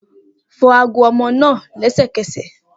Fọ ago ọmọ naa lẹsẹkẹsẹ!